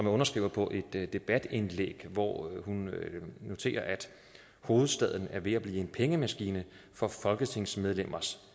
er underskriver på et debatindlæg hvor hun noterer at hovedstaden er ved at blive en pengemaskine for folketingsmedlemmers